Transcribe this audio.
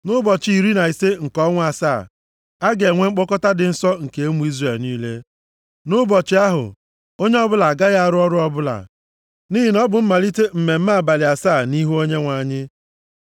“ ‘Nʼụbọchị iri na ise nke ọnwa asaa, a ga-enwe mkpọkọta dị nsọ nke ụmụ Izrel niile. Nʼụbọchị ahụ, onye ọbụla agaghị arụ ọrụ ọbụla, nʼihi na ọ bụ mmalite mmemme abalị asaa nʼihu Onyenwe anyị.